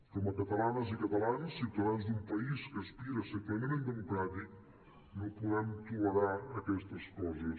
com a catalanes i catalans ciutadans d’un país que aspira a ser plenament democràtic no podem tolerar aquestes coses